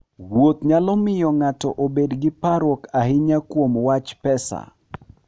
Wuoth nyalo miyo ng'ato obed gi parruok ahinya kuom wach pesa.